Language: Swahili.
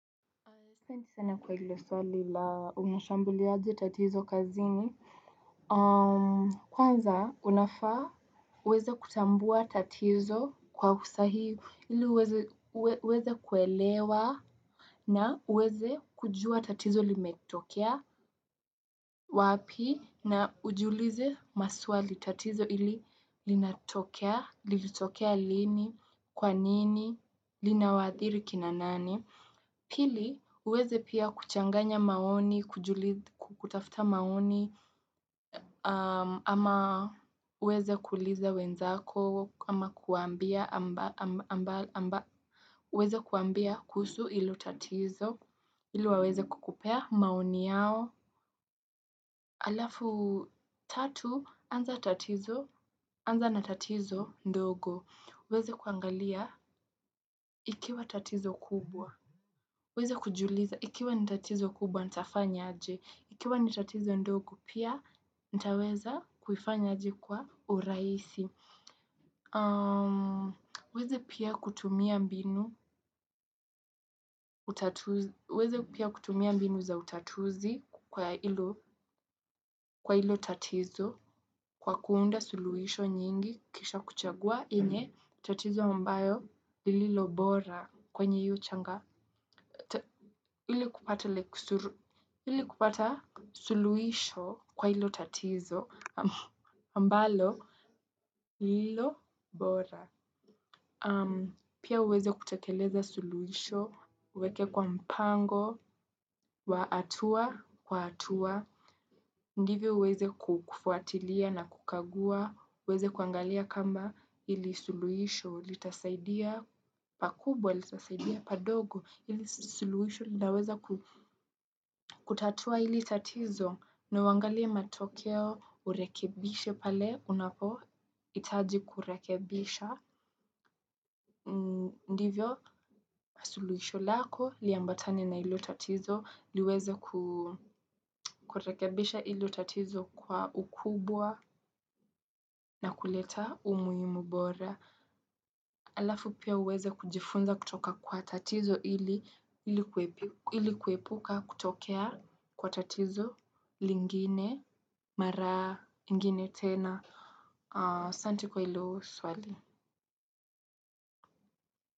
Asante sana kwa hilo swali la unashambulia aje tatizo kazini. Kwanza, unafaa uweze kutambua tatizo kwa usahihi. Ili uweze kuelewa na uweze kujua tatizo limetokea wapi na ujiulize maswali tatizo hili linatokea, lilitokea lini, kwa nini, linawaadhiri kina nani. Pili, uweze pia kuchanganya maoni, kutafuta maoni, ama uweze kuuliza wenzako, ama kuwaambia kuhusu hilo tatizo, ili waweze kukupea maoni yao. Alafu tatu, anza tatizo, anza na tatizo ndogo. Uweze kuangalia, ikiwa tatizo kubwa. Uweze kujiuliza, ikiwa ni tatizo kubwa, nitafanya aje. Ikiwa ni tatizo ndogo, pia nitaweza kuifanya aje kwa urahisi. Uweze pia kutumia mbinu za utatuzi kwa hilo tatizo, kwa kuunda suluhisho nyingi, kisha kuchagua yenye, tatizo ambayo, lililo bora kwenye hio changamoto, ili kupata suluisho kwa ilo tatizo, ambalo, lililo bora. Pia uweze kutekeleza suluisho, uweke kwa mpango, wa hatua kwa hatua, ndivyo uweze kufuatilia na kukagua, uweze kuangalia kama ili suluisho, litasaidia pakubwa, litasaidia padogo, ili suluisho, nitaweza kutatua hili tatizo, na uangalia matokeo urekebishe pale, unapohitaji kurekibisha, ndivyo, suluisho lako, liambatane na hilo tatizo. Liweze kurekebisha hilo tatizo kwa ukubwa na kuleta umuhimu bora. Alafu pia uweze kujifunza kutoka kwa tatizo ili kuepuka kutokea kwa tatizo lingine, mara, ingine tena, asante kwa hilo swali.